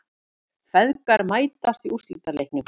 Feðgar mætast í úrslitaleiknum